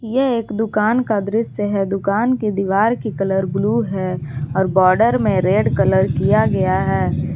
यह एक दुकान का दृश्य है दुकान के दीवार की कलर ब्लू है और बॉर्डर में रेड कलर किया गया है।